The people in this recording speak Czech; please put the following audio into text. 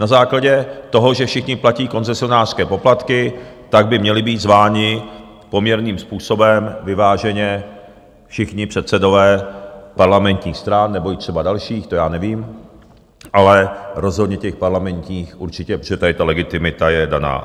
Na základě toho, že všichni platí koncesionářské poplatky, tak by měli být zváni poměrným způsobem vyváženě všichni předsedové parlamentních stran nebo i třeba dalších, to já nevím, ale rozhodně těch parlamentních určitě, protože tady ta legitimita je daná.